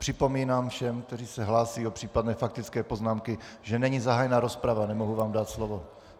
Připomínám všem, kteří se hlásí o případné faktické poznámky, že není zahájena rozprava, nemohu vám dát slovo.